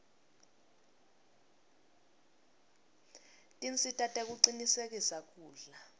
tinsita tekucinisekisa kudla